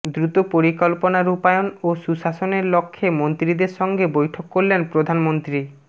দ্রুত পরিকল্পনা রূপায়ন ও সুশাসনের লক্ষ্যে মন্ত্রীদের সঙ্গে বৈঠক করলেন প্রধানমন্ত্রী